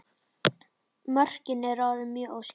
Mörkin eru oft mjög óskýr.